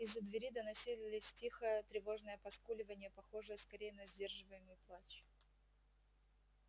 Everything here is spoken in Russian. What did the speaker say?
из-за двери доносилось тихое тревожное поскуливание похожее скорее на сдерживаемый плач